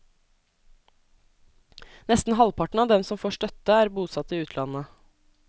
Nesten halvparten av dem som får støtte, er bosatt i utlandet.